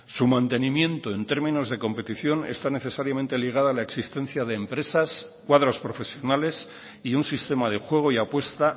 su mantenimiento en términos de competición está necesariamente ligada a la existencia de empresas cuadros profesionales y un sistema de juego y apuesta